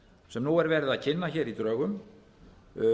sem nú er verið að kynna í drögum